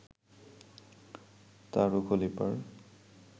তারু খলিফার